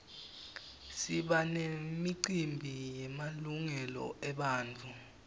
siba nemicimbi yemalungelo ebantfu